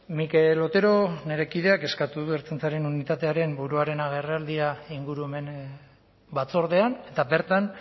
mikel otero nire kideak eskatu du ertzaintzaren unitatearen buruaren agerraldia ingurumen batzordean eta bertan